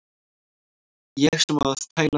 Ég sem á að tæla þig.